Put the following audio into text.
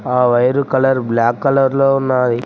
ఆ wire colour black colour లో ఉన్నది.